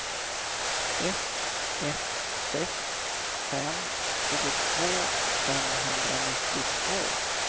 ett ett sex fem tjugotvå femhundranittiotvå